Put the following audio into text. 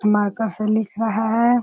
Marker से लिख रहा है।